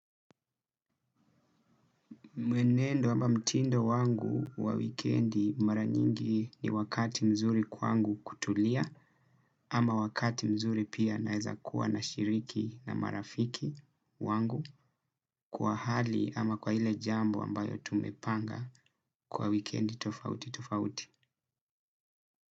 Mwenendo ama mtindo wangu wa wikendi mara nyingi ni wakati mzuri kwangu kutulia. Ama wakati mzuri pia naweza kuwa nashiriki na marafiki wangu kwa hali ama kwa lile jambo ambalo tumepanga kwa wikendi tofauti tofauti.